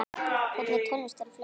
Hvernig tónlist verður flutt?